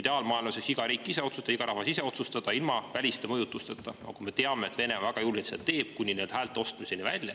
Ideaalmaailmas võiks iga riik ja rahvas saada ise otsustada – ilma väliste mõjutusteta –, kuid me teame, et Venemaa seda väga julgelt teeb, kuni häälte ostmiseni välja.